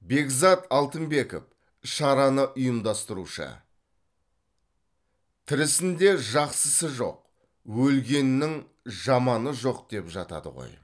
бекзат алтынбеков шараны ұйымдастырушы тірісінде жақсысы жоқ өлгенінің жаманы жоқ деп жатады ғой